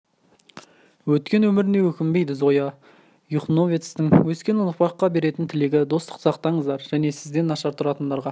өткен өміріне өкінбейді зоя юхновецтің өскелен ұрпаққа беретін тілегі достықты сақтаңыздар және сізден нашар тұратындарға